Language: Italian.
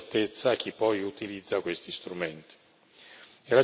La certezza è molto importante per dare credibilità alle istituzioni.